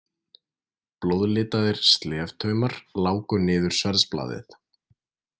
Blóðlitaðir sleftaumar láku niður sverðsblaðið.